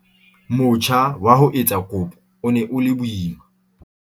"Motjha wa ho etsa kopo o ne o le boima."